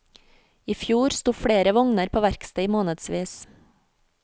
I fjor sto flere vogner på verksted i månedsvis.